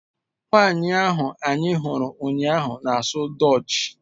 Nwanyị ahụ anyị hụrụ ụnyaahụ na-asụ Dutch